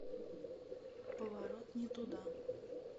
поворот не туда